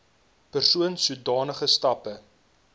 persoon sodanige stappe